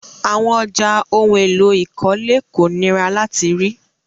Àwọn ọ̀já ohun èlò ìkọ́lé kò ní rà láti rí.